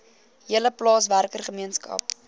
hele plaaswerker gemeenskap